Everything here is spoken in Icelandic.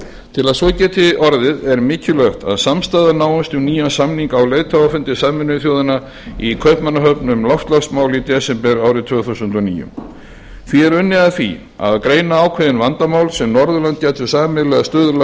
til að svo geti orðið er mikilvægt að samstaða náist um nýjan samning á leiðtogafundi sameinuðu þjóðanna í kaupmannahöfn um loftslagsmál í desember tvö þúsund og níu því er unnið að því að greina ákveðin vandamál sem norðurlönd gætu sameiginlega stuðlað